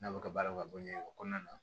N'a bɛ ka baaraw ka bɔ ɲɛgɛn kɔnɔna na